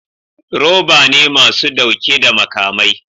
Roba ne masu dauke da makamai